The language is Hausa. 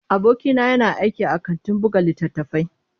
Abokina yana aiki a kantin buga littattafai.